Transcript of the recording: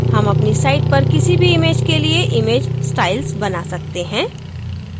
हम अपनी site पर किसी भी image के लिए image styles बना सकते हैं